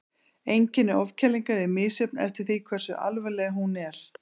Einkenni ofkælingar eru misjöfn eftir því hversu alvarleg hún er.